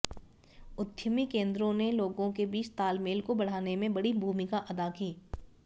उद्यमी केंद्रों ने लोगों के बीच तालमेल को बढ़ाने में बड़ी भूमिका अदा की